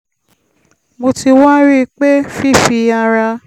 mo ti wá rí i pé fífi ara